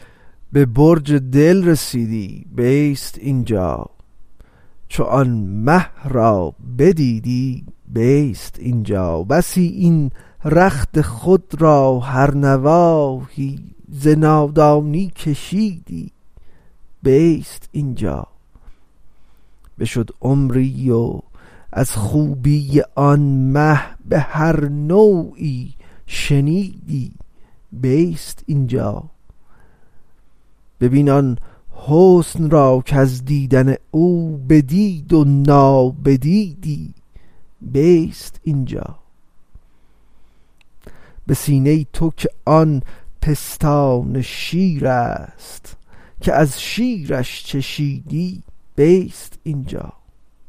به برج دل رسیدی بیست این جا چو آن مه را بدیدی بیست این جا بسی این رخت خود را هر نواحی ز نادانی کشیدی بیست این جا بشد عمری و از خوبی آن مه به هر نوعی شنیدی بیست این جا ببین آن حسن را کز دیدن او بدید و نابدیدی بیست این جا به سینه تو که آن پستان شیرست که از شیرش چشیدی بیست این جا